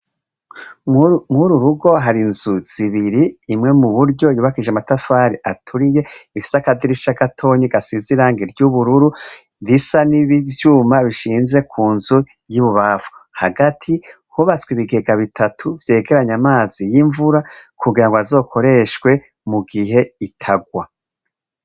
Mw'uru rugo hari inzu zibiri imwe mu buryo yubakije amatafari aturiye ifisi akadirisha gatoyi gasize irangi ry'ubururu risa n'ibi vyuma bishinze ku nzu y'ibubamfu, hagati hubatswe ibigega bitatu vyegeranya amazi y'imvura kugira ngo azokoreshwe mu gihe itagwa.